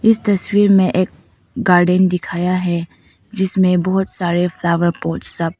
इस तस्वीर में एक गार्डेन दिखाया है जिसमें बहोत सारे फ्लावर पॉट सब--